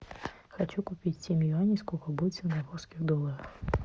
хочу купить семь юаней сколько будет в сингапурских долларах